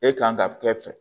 E kan ka kɛ fɛ